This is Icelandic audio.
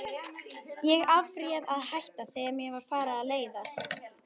Ég afréð að hætta, þegar mér var farið að leiðast.